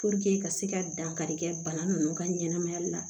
ka se ka dankari kɛ bana nunnu ka ɲɛnɛmaya la